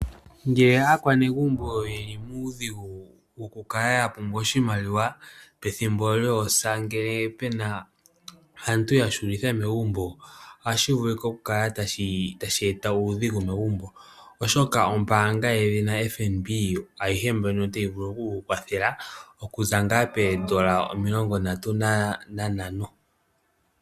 Ngele aakwanegumbo yeli muudhigu woku kala ya pumbwa oshimaliwa pethimbo lyoosa ngele pena aantu ya hulitha megumbo ohashi vulika oku kala tashi eta uudhigu megumbo, oshoka ombaanga yedhina FNB ayihe mbyono oteyi vulu okuku kwathela okuza ngaa peedollar 35.